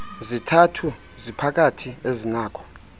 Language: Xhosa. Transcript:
zithathu ziphakathi azinakho